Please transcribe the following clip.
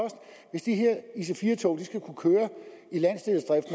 hvis de her ic4 tog skal kunne køre